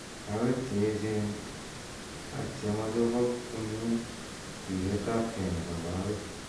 kaweek chee echen ak chema chopok komnyee sireet ap gee nepo kawek.